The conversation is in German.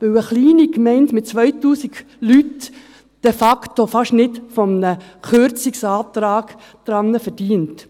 – Weil eine kleine Gemeinde mit 2000 Leuten de facto fast nicht an einem Kürzungsantrag verdient.